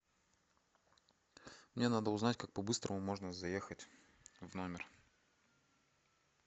мне надо узнать как по быстрому можно заехать в номер